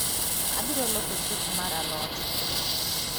Abiro loso sup mar alot